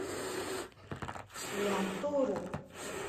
лянтору